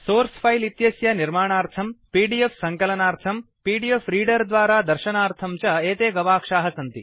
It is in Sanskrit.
सोर्स फिले इत्यस्य निर्माणार्थं पीडीएफ सङ्कलनार्थं पीडीएफ रीडर द्वारा दर्शनार्थं च एते गवाक्षाः सन्ति